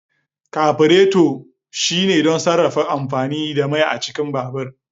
kaburato shine don sarrafa amfani da mai a cikin babur